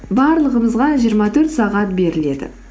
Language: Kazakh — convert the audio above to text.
барлығымызға жиырма төрт сағат беріледі